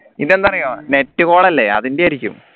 ഇതെന്താ അറിയോ net call അല്ലേ അതിൻറെ ആയിരിക്കും